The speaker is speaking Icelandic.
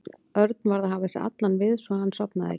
Örn varð að hafa sig allan við svo að hann sofnaði ekki.